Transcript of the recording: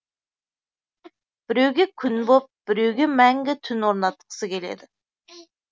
біреуге күн боп біреуге мәңгі түн орнатқысы келеді